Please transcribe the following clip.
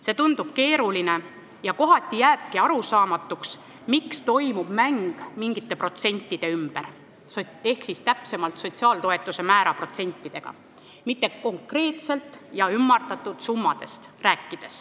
See tundub keeruline ja kohati jääb arusaamatuks, miks toimub mäng mingite protsentide ehk sotsiaaltoetuste määra protsentide ümber, mitte ei räägita konkreetselt ümardatud summadest.